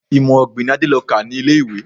Imọ-ọ̀gbìn ni Adé lọ kà ní ilé-ìwé.